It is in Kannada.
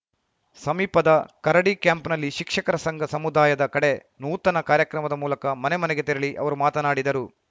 ಸಮೀಪದ ಕರಡಿಕ್ಯಾಂಪ್‌ನಲ್ಲಿ ಶಿಕ್ಷಕರ ಸಂಘ ಸಮುದಾಯದ ಕಡೆ ನೂತನ ಕಾರ್ಯಕ್ರಮದ ಮೂಲಕ ಮನೆ ಮನೆಗೆ ತೆರಳಿ ಅವರು ಮಾತನಾಡಿದರು